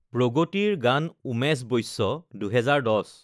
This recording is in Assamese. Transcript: প্ৰগতিৰ গান উমেশ বৈশ্য২০১০